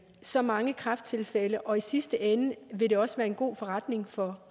så mange kræfttilfælde og i sidste ende ville det også være en god forretning for